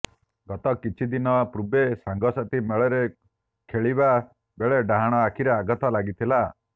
ଗତ କିଛି ଦିନ ପୂର୍ବେ ସାଙ୍ଗସାଥୀ ମେଳରେ ଖେଲିବା ବେଳେ ଡାହାଣ ଆଖିରେ ଆଘାତ ଲାଗିଥିଲା